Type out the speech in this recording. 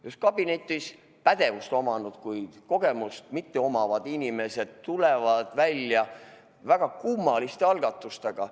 Just kabinetis pädevust omavad, kuid kogemust mitte omavad inimesed tulevad välja väga kummaliste algatustega.